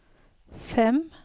fem